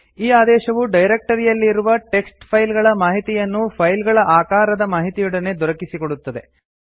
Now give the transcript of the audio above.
ಈ ಆದೇಶವು ಡೈರಕ್ಟರಿಯಲ್ಲಿ ಇರುವ ಟಿಎಕ್ಸ್ಟಿ ಫೈಲ್ ಗಳ ಮಾಹಿತಿಯನ್ನು ಫೈಲ್ ಗಳ ಆಕಾರದ ಮಾಹಿತಿಯೊಡನೆ ದೊರಕಿಸಿಕೊಡುತ್ತದೆ